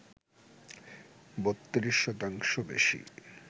৩২ শতাংশ বেশি